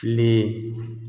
Tilen